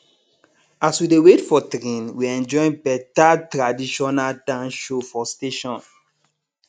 as we dey wait for train we enjoy better traditional dance show for station